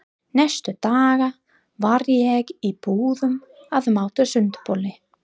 Næstu daga var ég í búðum að máta sundboli.